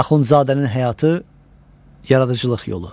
Axundzadənin həyatı, yaradıcılıq yolu.